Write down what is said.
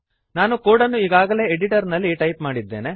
ನಾನು ಕೋಡನ್ನು ಈಗಾಗಲೇ ಎಡಿಟರ್ನಲ್ಲಿ ಟೈಪ್ ಮಾಡಿದ್ದೇನೆ